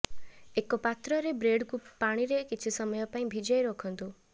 ଏକ ପାତ୍ରରେ ବ୍ରେଡକୁ ପାଣିରେ କିଛି ସମୟ ପାଇଁ ଭିଜାଇ ରଖନ୍ତୁ